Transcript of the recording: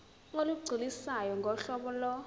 olugculisayo ngohlobo lo